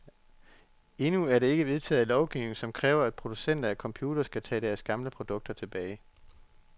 Endnu er der ikke vedtaget lovgivning, som kræver, at producenter af computere skal tage deres gamle produkter tilbage.